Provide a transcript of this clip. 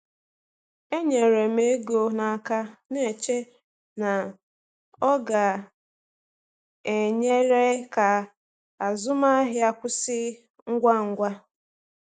E nyere m ego n’aka, na-eche na ọ ga-enyere ka azụmahịa kwụsị ngwa ngwa.